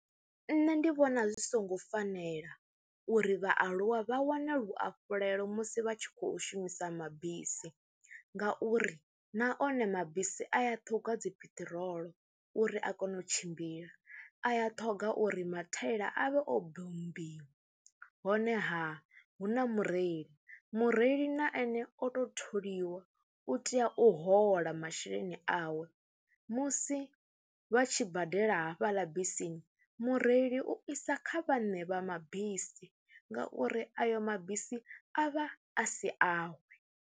Nṋe ndi vhona zwi songo fanela uri vhaaluwa vha wane luhafhulelo musi vha tshi khou shumisa mabisi ngauri na one mabisi a ya ṱhogwa dzi piṱirolo uri a kone u tshimbila, a ya ṱhoga uri mathaila a vhe obombiwa honeha hu na mureili. Mureili na ane o tou tholiwa, u tea u hola masheleni awe musi vha tshi badela hafhaḽa bisini mureili u isa kha vhaṋe vha mabisi ngauri ayo mabisi a vha a si awe.